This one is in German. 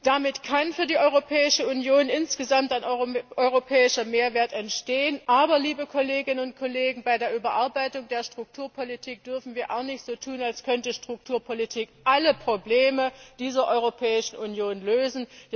Damit kann für die Europäische Union insgesamt ein europäischer Mehrwert entstehen, aber bei der Überarbeitung der Strukturpolitik dürfen wir auch nicht so tun, als könnte Strukturpolitik alle Probleme dieser Europäischen Union lösen.